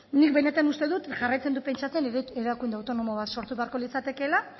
nik benetan uste dut jarraitzen dut pentsatzen erakunde autonomo bat sortu beharko litzatekeela